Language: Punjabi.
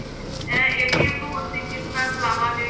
ਐ ਨੂੰ ਅਸੀਂ ਕਿਸ ਤਰ੍ਹਾਂ ਚਲਾਵਾਂਗੇ